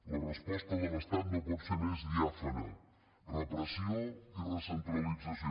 la resposta de l’estat no pot ser més diàfana repressió i recentralització